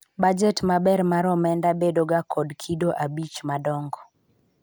bajet maber mar omenda bedo ga kod kido abich madongo